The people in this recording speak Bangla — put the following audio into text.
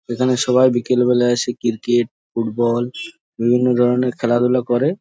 এইখানে সবাই বিকেল বেলা এসে ক্রিকেট ফুটবল বিভিন্ন ধরণের খেলাধুলা করে।